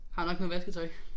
Har nok noget vasketøj